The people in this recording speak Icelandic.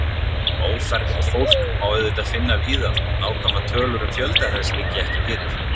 Ófermt fólk má auðvitað finna víða þótt nákvæmar tölur um fjölda þess liggi ekki fyrir.